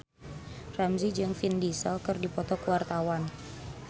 Ramzy jeung Vin Diesel keur dipoto ku wartawan